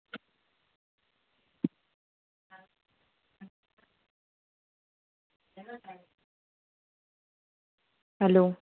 Hello